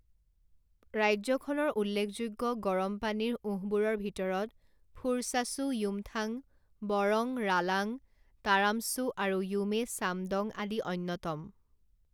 ৰাজ্যখনৰ উল্লেখযোগ্য গৰম পানীৰ উঁহবোৰৰ ভিতৰত ফুৰচাচু য়ুমথাং বৰং ৰালাং তাৰাম চু আৰু য়ুমে ছামডং আদি অন্যতম।